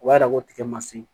O b'a yira ko tigɛ ma se